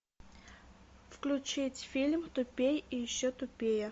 включить фильм тупей и еще тупее